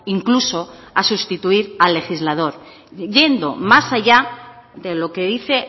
incluso a sustituir al legislador yendo más allá de lo que dice